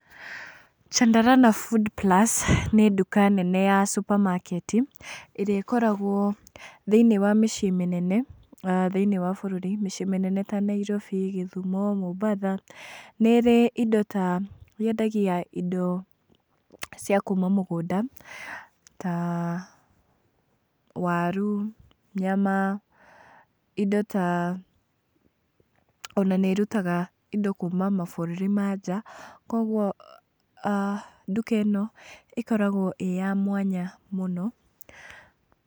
Chandarana Food plus nĩ nduka nene ya supermarket, ĩrĩa ĩkoragwo thĩiniĩ wa mĩciĩ mĩnene thĩiniĩ a bũrũri, mĩciĩ mĩnene ta Nairobi, gĩthumo, mombatha, nĩ ĩrĩ indo ta, yendagia indo cia kuma mũgũnda ta waru, nyama, indo ta, ona nĩ irutaga indo kuma mabũrũri ma nja, koguo nduka ĩno ĩkoragwo ĩ ya mwanya mũno.